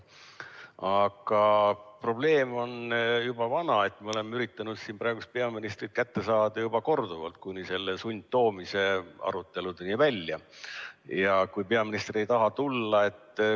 Aga probleem on juba vana, me oleme üritanud siin peaministrit kätte saada juba korduvalt, kuni sundtoomise aruteludeni välja, aga peaminister ei taha tulla.